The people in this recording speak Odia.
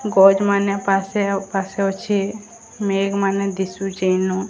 ଗଛ୍ ମାନେ ପାସେ ଅ ପାସେ ଅଛେ ମେଗ୍ ମାନେ ଦିଶୁଚେ ଇନୁ।